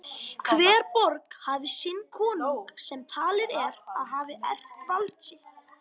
Hver borg hafði sinn konung sem talið er að hafi erft vald sitt.